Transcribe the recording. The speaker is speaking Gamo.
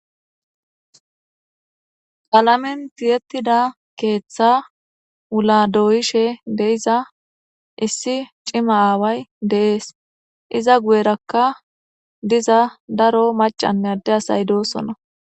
Qlamenti tiyettida keeththa wula doyishe deiza issi cima aaway deees iza guyerakka diza daro macanne adde asay doosonna